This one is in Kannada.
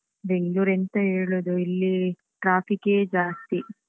Bangalore ಎಂತ ಹೇಳುದು, ಇಲ್ಲೀ traffic ಏ ಜಾಸ್ತಿ